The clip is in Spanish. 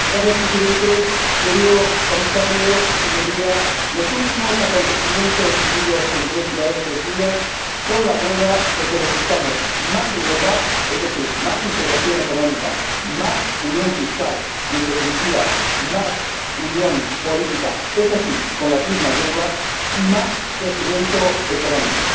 Señor Presidente, señor Comisario, Señorías, los últimos acontecimientos vividos en Grecia estos días son la prueba de que necesitamos más Europa, es decir, más integración económica, más unión fiscal y, en definitiva, más unión política —eso sí, con las mismas reglas— y más crecimiento económico.